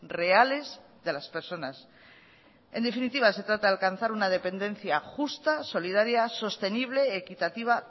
reales de las personas en definitiva se trata de alcanzar una dependencia justa solidaria sostenible equitativa